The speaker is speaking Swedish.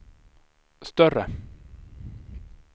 större